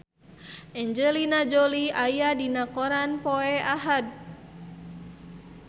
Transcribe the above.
Angelina Jolie aya dina koran poe Ahad